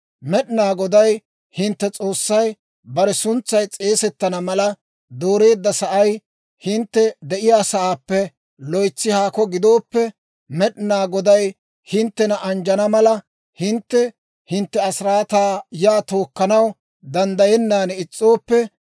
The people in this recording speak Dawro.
Med'inaa Goday hintte S'oossay bare suntsay s'eesettana mala dooreedda sa'ay, hintte de'iyaasaappe loytsi haako gidooppe, Med'inaa Goday hinttena anjjana mala, hintte hintte asiraataa yaa tookkanaw danddayennan is's'ooppe,